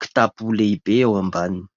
kitapo lehibe ao ambaniny.